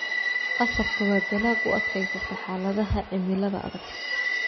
Qasabka waa dalag u adkaysata xaaladaha cimilada adag.